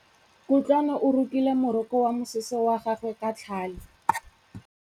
Kutlwanô o rokile morokô wa mosese wa gagwe ka tlhale.